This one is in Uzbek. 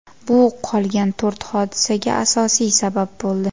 Bu qolgan to‘rt hodisaga asosiy sabab bo‘ldi.